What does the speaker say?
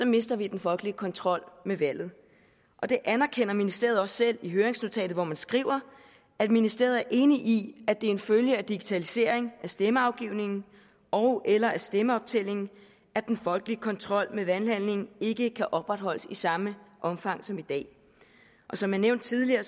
mister vi den folkelige kontrol med valget og det anerkender ministeriet også selv i høringsnotatet hvor man skriver at ministeriet er enig i at det er en følge af digitalisering af stemmeafgivningen ogeller af stemmeoptællingen at den folkelige kontrol med valghandlingen ikke kan opretholdes i samme omfang som i dag og som jeg nævnte tidligere